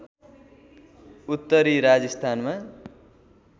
उत्तरी राजस्थानमा